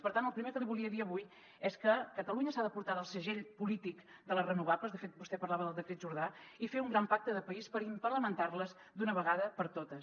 per tant el primer que li volia dir avui és que catalunya s’ha d’apartar del segell polític de les renovables de fet vostè parlava del decret jordà i fer un gran pacte de país per implementar les d’una vegada per totes